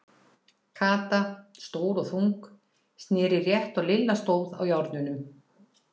Kata, stór og þung, sneri rétt og Lilla stóð á járnunum.